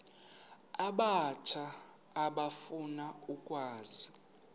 abatsha efuna ukwazi